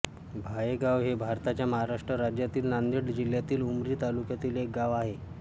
भायेगाव हे भारताच्या महाराष्ट्र राज्यातील नांदेड जिल्ह्यातील उमरी तालुक्यातील एक गाव आहे